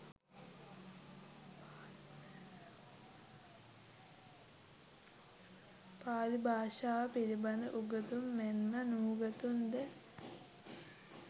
පාලි භාෂාව පිළිබඳ උගතුන් මෙන් ම නූගතුන් ද